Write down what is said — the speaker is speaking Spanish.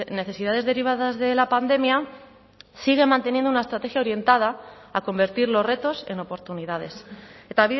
necesidades derivadas de la pandemia sigue manteniendo una estrategia orientada a convertir los retos en oportunidades eta